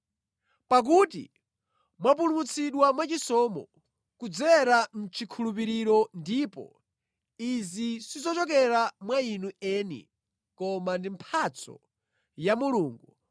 Pakuti mwapulumutsidwa mwachisomo, kudzera mʼchikhulupiriro ndipo izi sizochokera mwa inu eni, koma ndi mphatso ya Mulungu,